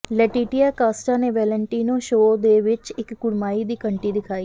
Laetitia Casta ਨੇ Valentino show ਵਿਚ ਇਕ ਕੁੜਮਾਈ ਦੀ ਘੰਟੀ ਦਿਖਾਈ